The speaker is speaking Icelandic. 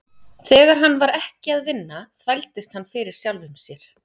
Þegar hann var ekki að vinna þvældist hann fyrir sjálfum sér.